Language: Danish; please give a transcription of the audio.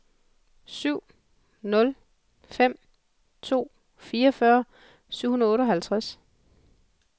syv nul fem to fireogfyrre syv hundrede og otteoghalvtreds